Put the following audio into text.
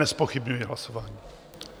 Nezpochybňuji hlasování.